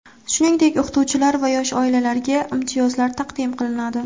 Shuningdek, o‘qituvchilar va yosh oilalarga imtiyozlar taqdim qilinadi.